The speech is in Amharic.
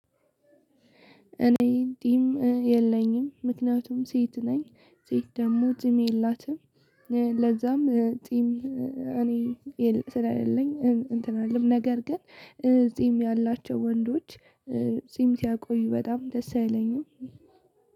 እኔ ጺም የለኝም ምክንያቱም ሴት ነኝ ሴት ደግሞ ጺም የላትም። ለዛም ጺም እኔ ስለሌለኝ እንትን አልልም ነገር ግን ጺም ያላቸው ወንዶች። ጺም ሲያቆዩ በጣም ደስ አይለኝም።